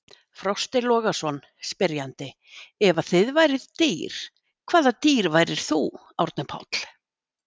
Frosti Logason, spyrjandi: Ef að þið væruð dýr, hvaða dýr væri þú, Árni Páll?